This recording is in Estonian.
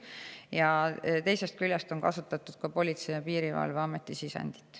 Samas, teisest küljest on arvestatud ka Politsei- ja Piirivalveameti sisendit.